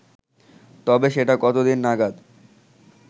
তবে সেটা কত দিন নাগাদ